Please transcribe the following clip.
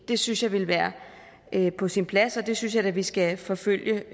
det synes jeg ville være på sin plads og det synes jeg da at vi skal forfølge